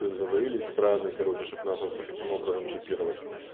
и сговорились страны короче чтобы нас таким образом чипировать